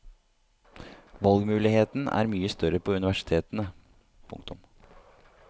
Valgmuligheten er mye større på universitetene. punktum